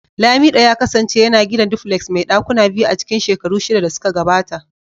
lamido ya kasance yana gina duplex mai dakuna biyu a cikin shekaru shida da suka gabata.